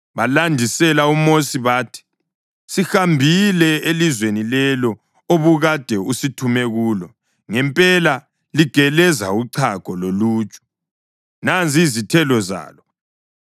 Balandisela uMosi bathi: “Sihambile elizweni lelo obukade usithume kulo, ngempela ligeleza uchago loluju! Nanzi izithelo zalo.